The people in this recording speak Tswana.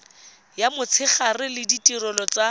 ya motshegare le ditirelo tsa